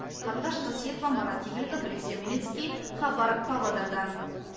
қарлығаш қасиетова марат игіліков алексей омедьницкий хабар павлодардан